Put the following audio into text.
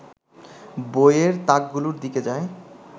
বইয়ের তাকগুলোর দিকে যায়